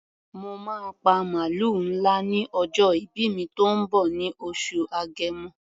Mo máa pa màlúù ńlá ní ọjọ́ ìbí mi tó ń bọ̀ ní oṣù Agẹmọ.